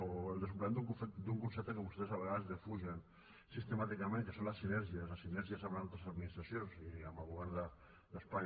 o el desenvolupament d’un concepte que vostès a vegades defugen sistemàticament que són les sinèrgies les sinèrgies amb altres administracions i amb el govern d’espanya